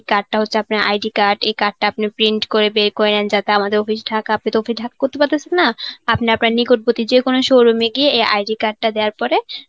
card টা হচ্ছে আপনার ID card. এই card টা আপনি print করে বের করে নেন. যাতে আমাদের office ঢাকা. আপনি তো office এ করতে করতে পারতাছেন না. আপনি আপনার নিকটবর্তী যেকোনো showroom এ গিয়ে এই ID card টা দেওয়ার পরে